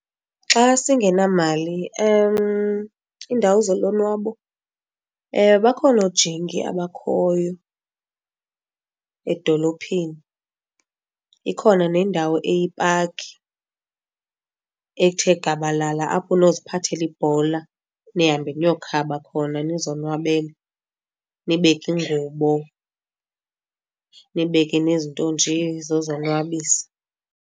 Xa singenamali iindawo zolonwabo bakhona oojingi abakhoyo edolophini. Ikhona nendawo eyipaki ethe gabalala, apho unokuziphathela ibhola nihambe niyokhaba khona nizonwabele nibeke iingubo, nibeke nezinto nje zozonwabisa.